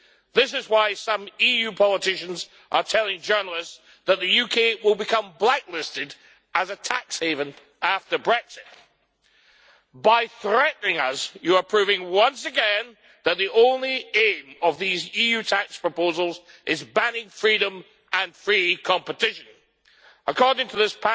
This is why some EU politicians are telling journalists that the UK will be blacklisted as a tax haven after Brexit. By threatening us, you are proving once again that the only aim of these EU tax proposals is banning freedom and free competition. According to this